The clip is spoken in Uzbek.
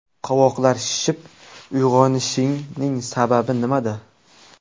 Qovoqlar shishib uyg‘onishning sababi nimada?.